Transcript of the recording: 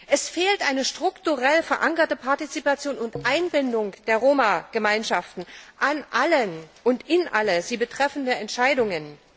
Es fehlt eine strukturell verankerte Partizipation und Einbindung der Roma Gemeinschaften an allen und in alle sie betreffenden Entscheidungen.